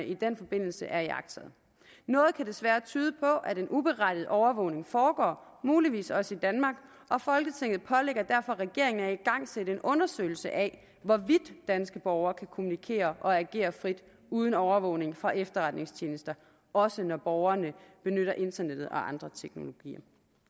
i den forbindelse er iagttaget noget kan desværre tyde på at en uberettiget overvågning foregår muligvis også i danmark og folketinget pålægger derfor regeringen at igangsætte en undersøgelse af hvorvidt danske borgere kan kommunikere og agere frit uden overvågning fra efterretningstjenester også når borgere benytter internettet og andre teknologier